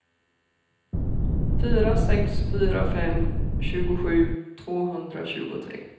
fyra sex fyra fem tjugosju tvåhundratjugotre